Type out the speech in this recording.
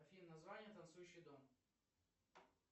афина название танцующий дом